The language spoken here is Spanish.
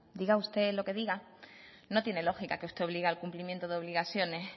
diga usted lo que diga no tiene lógica que usted obligue al cumplimiento de obligaciones